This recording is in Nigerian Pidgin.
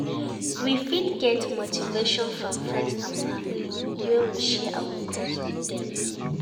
We fit get motivation from friends and family when we share our goals with them